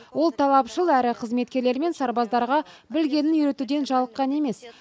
ол талапшыл әрі қызметкерлер мен сарбаздарға білгенін үйретуден жалыққан емес